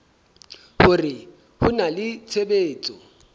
hore ho na le tshebetso